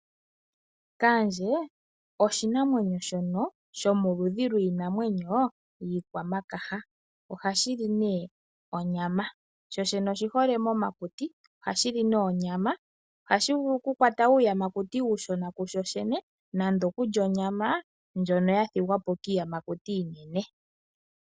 Kaandje osho oshinamwenyo shomoludhi lwiinanwenyo iikwamakaha, ohashi li nee onyama sho shene oshihole momakuti, ohashi li nee onyama, ohashi vulu oku kwata uuyamakuti uushona kusho shene nande okulya onyama ndjono ya thigwapo kiiyamakuti iinene.